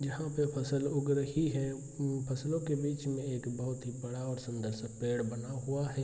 यहां पे फसल उग रही हैं फसलों के बिच में एक बहुत ही बड़ा और सुंदर-सा पेड़ बना हुआ है।